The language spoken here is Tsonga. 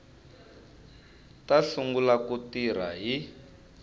ta sungula ku tirha hi